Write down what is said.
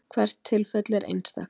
hvert tilfelli er einstakt